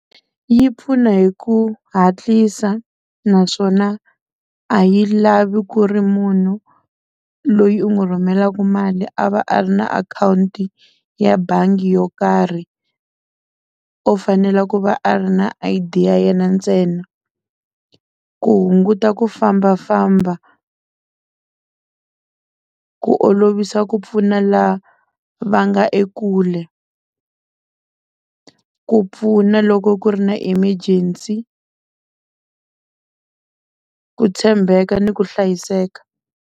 Yi pfuna hi ku hatlisa naswona a yi lavi ku ri munhu loyi u n'wi rhumelaka mali a va a ri na akhawunti ya bangi yo karhi u fanele ku va a ri na I_D ya yena ntsena ku hunguta ku fambafamba ku olovisa ku pfuna lava nga ekule ku pfuna loko ku ri na emergency ku tshembeka ni ku hlayiseka.